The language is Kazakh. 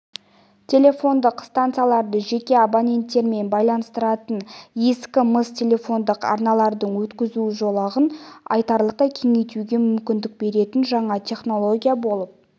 телефондық стансаларды жеке абоненттермен байланыстыратын ескі мыс телефондық арналардың өткізу жолағын айтарлықтай кеңейтуге мүмкіндік беретін жаңа технология болып